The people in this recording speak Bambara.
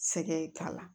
Sɛgɛn k'a la